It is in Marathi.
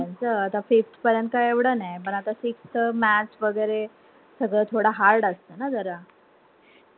मुलांचा आता fifth परेंत एवढ नाय पण आता sixth च maths वगैरे सगळं थोड hard असत ना जरा.